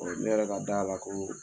Ne yɛrɛ ka d'a la ko